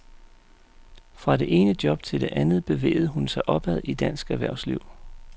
Fra det ene job til det andet bevægede hun sig opad i dansk erhvervsliv.